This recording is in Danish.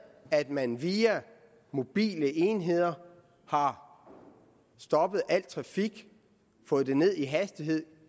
at man via mobile enheder har stoppet al trafik fået den ned i hastighed